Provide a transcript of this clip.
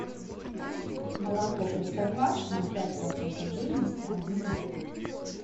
молоко простоквашино пять процентов жирности один литр